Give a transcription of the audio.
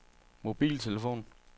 mobiltelefon